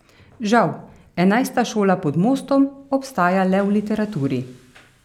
Žal, enajsta šola pod mostom obstaja le v literaturi.